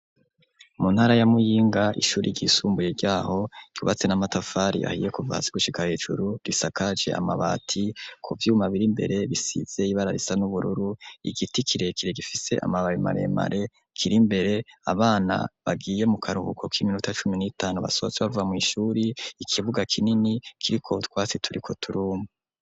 Mu ntara ya Muyinga ishure ryisumbuye ryaho ryubatse n'amatafari ahiye kuva hasi gushika hejuru risakaje amabati ku vyuma biri imbere bisize ibara risa n'ubururu, igiti kirekire gifise amababi maremare, kiri imbere abana bagiye mu karuhuko k'iminota cumi n'itanu basohotse bava mw'ishure, ikibuga kinini kiriko utwatsi turiko turuma.